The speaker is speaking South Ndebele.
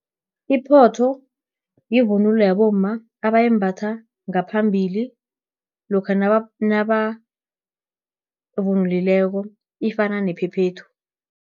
Iphotho, yivunulo yabomma, abayimbatha ngaphambili lokha nabavunulileko, ifana nephephethu.